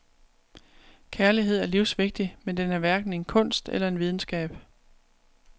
Kærlighed er livsvigtig, men den er hverken en kunst eller en videnskab.